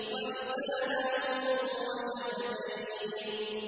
وَلِسَانًا وَشَفَتَيْنِ